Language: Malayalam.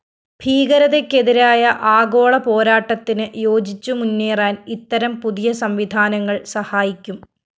ഭീകരതയ്‌ക്കെതിരായ ആഗോള പോരാട്ടത്തിനു യോജിച്ചുമുന്നേറാന്‍ ഇത്തരം പുതിയ സംവിധാനങ്ങള്‍ സഹായിക്കും